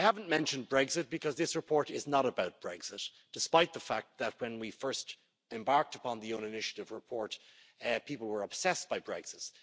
I haven't mentioned Brexit because this report is not about Brexit, despite the fact that, when we first embarked on the own initiative report, people were obsessed by